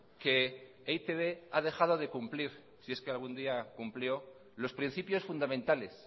que e i te be ha dejado de cumplir si es que algún día cumplió los principios fundamentales